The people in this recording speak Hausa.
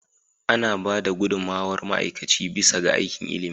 Ana ba da gudummawar ma'aikaci bisa ga aikin ilimi.